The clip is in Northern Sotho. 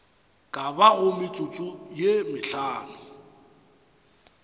ka bago metsotso ye mehlano